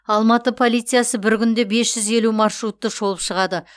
алматы полициясы бір күнде бес жүз елу маршрутты шолып шығады